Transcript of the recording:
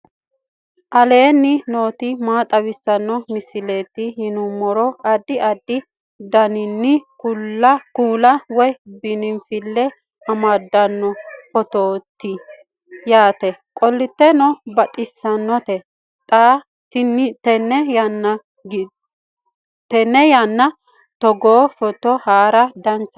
aleenni nooti maa xawisanno misileeti yinummoro addi addi dananna kuula woy biinfille amaddino footooti yaate qoltenno baxissannote xa tenne yannanni togoo footo haara danchate